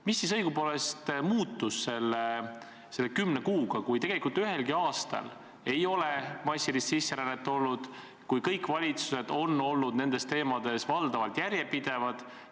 Mis siis õigupoolest muutus selle kümne kuuga, kui tegelikult ühelgi aastal ei ole massilist sisserännet olnud, kui kõik valitsused on nende teemade käsitlemisel valdavalt järjepidevad olnud?